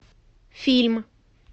фильм